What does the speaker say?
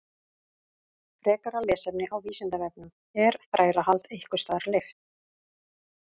Frekara lesefni á Vísindavefnum Er þrælahald einhvers staðar leyft?